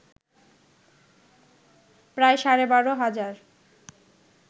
প্রায় সাড়ে বারো হাজার